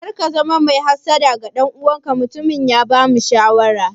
Kar ka zama mai hassada ga ɗan uwanka, mutumin ya bamu shawara.